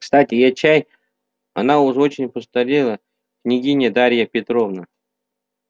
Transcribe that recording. кстати я чай она уж очень постарела княгиня дарья петровна